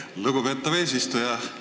Aitäh, lugupeetav eesistuja!